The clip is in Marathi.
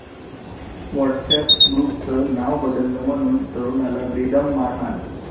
व्हॉट्सअॅप ग्रुपचं नावं बदललं म्हणून तरुणाला बेदम मारहाण